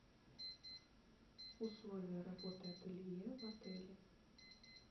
условия работы ателье в отеле